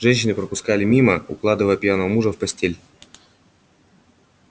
женщины пропускали мимо укладывая пьяного мужа в постель